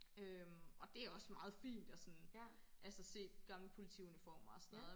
øhm og det er også meget fint og sådan altså se gamle politiuniformer og sådan noget